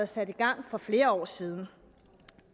sat i gang for flere år siden